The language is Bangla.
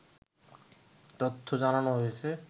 তথ্য জানানো হয়েছে